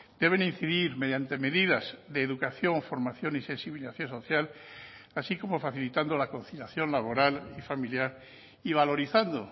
deben incidir mediante medidas de educación formación y sensibilización social así como facilitando la conciliación laboral y familiar y valorizando